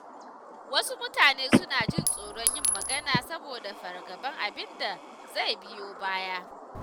Wasu mutanen suna jin tsoron yin magana saboda fargabar abin da zai biyo baya.